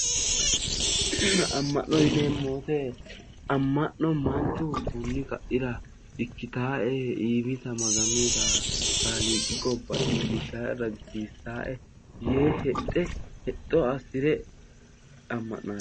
Aamma'no yineemmo wote manchu kunni kaira ikkitaae kunni kaira iimita Maganuyiita Kaaliiqi gobba iillishshaae ragisiisaae yee hexxe hexxo assire amma'nanno.